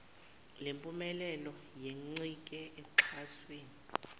lempumelelo yencike oxhasweni